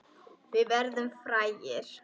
Við verðum frægir.